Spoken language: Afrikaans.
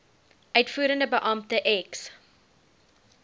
uitvoerende beampte ex